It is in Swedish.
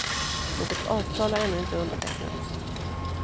Något avtal har ännu inte undertecknats.